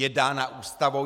Je dána Ústavou.